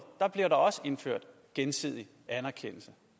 bliver der også indført gensidig anerkendelse